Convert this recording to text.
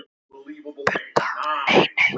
Budda: Nei, nei.